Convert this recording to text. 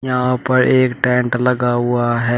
यहां पर एक टेंट लगा हुआ है।